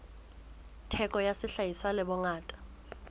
theko ya sehlahiswa le bongata